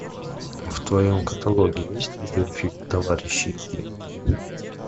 в твоем каталоге есть видеофильм товарищи и деньги